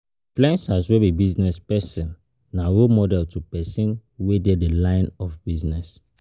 Influencers wey be business persin na role model to persin wey de the line of business